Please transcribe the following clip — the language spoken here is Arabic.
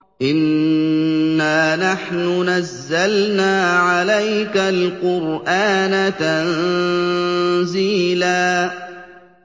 إِنَّا نَحْنُ نَزَّلْنَا عَلَيْكَ الْقُرْآنَ تَنزِيلًا